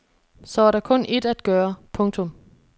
Så er der kun ét at gøre. punktum